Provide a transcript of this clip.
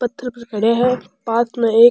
पत्थर पर खड़े है पास में एक --